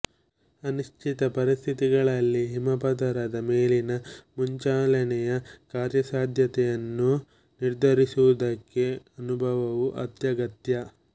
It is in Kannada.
ಅನಿಶ್ಚಿತ ಪರಿಸ್ಥಿತಿಗಳಲ್ಲಿ ಹಿಮಪದರದ ಮೇಲಿನ ಮುಂಚಲನೆಯ ಕಾರ್ಯಸಾಧ್ಯತೆಯನ್ನು ನಿರ್ಧರಿಸುವುದಕ್ಕೆ ಅನುಭವವು ಅತ್ಯಗತ್ಯ